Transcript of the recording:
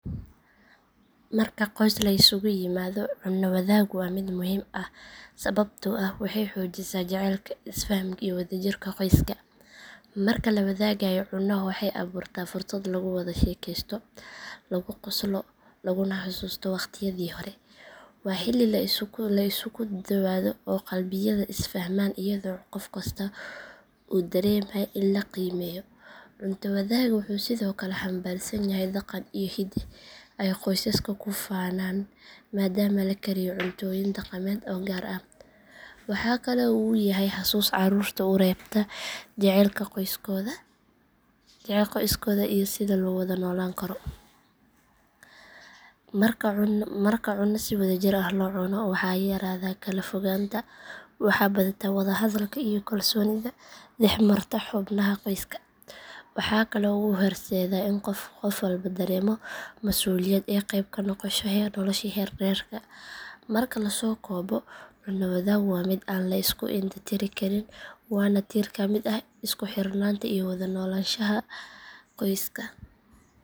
Marka qoys la isugu yimaado cunno wadaaggu waa mid muhiim ah sababtoo ah waxay xoojisaa jacaylka, isfahamka iyo wadajirka qoyska. Marka la wadaagayo cunno waxay abuurtaa fursad lagu wada sheekeysto, lagu qoslo, laguna xasuusto waqtiyadii hore. Waa xilli la isku dhowaado oo qalbiyada is fahmaan iyadoo qof kastaa uu dareemayo in la qiimeeyo. Cunto wadaagga wuxuu sidoo kale xambaarsan yahay dhaqan iyo hidde ay qoysasku ku faanaan maadaama la kariyo cuntooyin dhaqameed oo gaar ah. Waxa kale oo uu yahay xasuus carruurta u reebta jacaylka qoyskooda iyo sida loo wada noolaan karo. Marka cunno si wadajir ah loo cuno waxaa yaraada kala fogaanta waxaa badata wada hadalka iyo kalsoonida dhex marta xubnaha qoyska. Waxaa kale oo uu horseedaa in qof walba dareemo masuuliyad iyo qeyb ka noqosho nolosha reerka. Marka la soo koobo cunno wadaaggu waa mid aan la iska indho tiri karin waana tiir ka mid ah isku xirnaanta iyo wada noolaanshaha qoyska.